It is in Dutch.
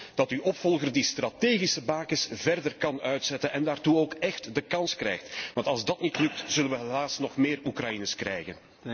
Ik hoop dat uw opvolger die strategische bakens verder kan uitzetten en daartoe ook echt de kans krijgt, want als dat niet lukt zullen wij helaas nog meer Oekraïenes krijgen.